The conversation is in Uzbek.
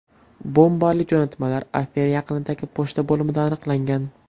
Bombali jo‘natmalar Afina yaqinidagi pochta bo‘limida aniqlangan.